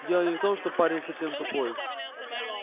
дело не в том что парень совсем тупой